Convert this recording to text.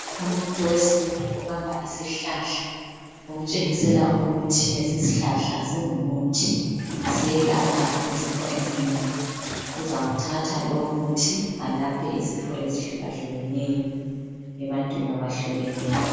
Umuntu wesintu ubamba isihlahla. Okutshengisela ukuthi lesishlahla singumuthi siyelapha izifo ezinengi. Uzawuthatha lomuthi alaphe izifo ezihlukahlukeneyo ebantwina bahlukeneyo.